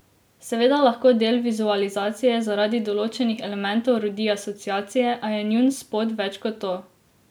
Seveda lahko del vizualizacije zaradi določenih elementov rodi asociacije, a je njun spot več kot to.